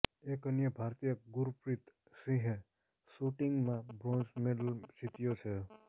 એક અન્ય ભારતીય ગુરપ્રીત સિંહએ શૂટિંગમાં બ્રોન્ઝ મેડલ જીત્યો છે